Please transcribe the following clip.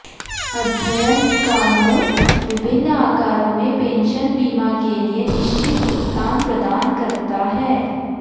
अध्ययन कानून विभिन्न आकारों में पेंशन बीमा के लिए निश्चित भुगतान प्रदान करता है